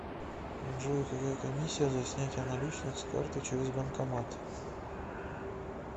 джой какая комиссия за снятие наличных с карты через банкомат